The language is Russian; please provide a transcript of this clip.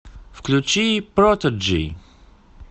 включи протоджи